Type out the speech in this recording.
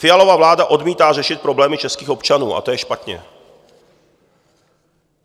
Fialova vláda odmítá řešit problémy českých občanů a to je špatně.